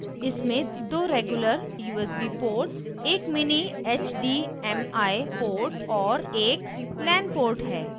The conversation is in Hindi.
इसमें दो regular usb ports एक mini hdmi ports एक lan ports है